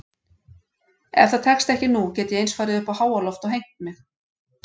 Ef það tekst ekki nú get ég eins farið uppá háaloft og hengt mig.